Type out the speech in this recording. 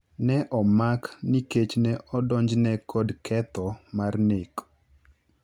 Ne omak nikech ne odonjne kod ketho mar nek.